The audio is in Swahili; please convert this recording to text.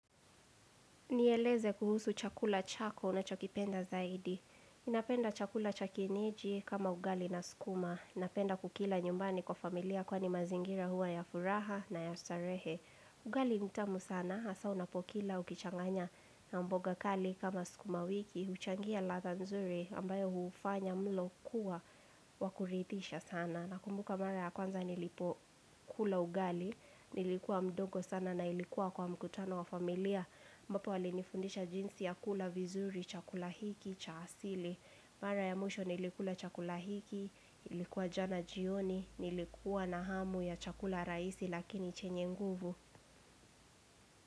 Nieleze kuhusu chakula chako unachokipenda zaidi. Ninapenda chakula cha kienyeji kama ugali na sukuma. Ninapenda kukila nyumbani kwa familia kwani mazingira huwa ya furaha na ya starehe. Ugali ni tamu sana, hasa unapokila ukichanganya na mboga kali kama sukumawiki. Huchangia ladha nzuri ambayo hufanya mlo kuwa wa kuridhisha sana. Nakumbuka mara ya kwanza nilipo kula ugali, nilikuwa mdogo sana na ilikuwa kwa mkutano wa familia. Ambapo walinifundisha jinsi ya kula vizuri, chakula hiki, cha asili. Mara ya mwisho nilikula chakula hiki, ilikuwa jana jioni, nilikuwa na hamu ya chakula rahisi lakini chenye nguvu.